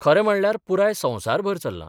खरें म्हणल्यार पुराय संवसारभर चल्लां.